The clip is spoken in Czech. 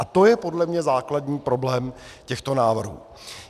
A to je podle mě základní problém těchto návrhů.